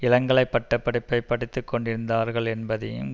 இளங்கலை பட்ட படிப்பை படித்து கொண்டிருந்தார்கள் என்பதையும்